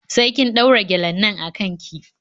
Sai kin ɗaura gyalen nan a kan ki.